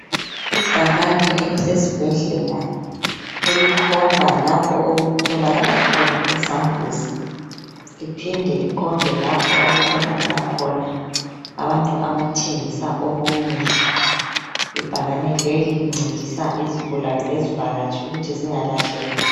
Ibhakane elisesibhedlela elikhomba lapho okutholakala khona isambuzi liphinde likhombe lapho okutholakala khona abantu abathengisa okokudla. Ibhakane leli lincedisa izigulane lezivakatshi ukuthi zingalahleki.